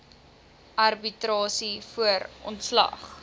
arbitrasie voor ontslag